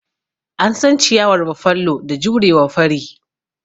An san ciyawar Buffalo da jurewa fari.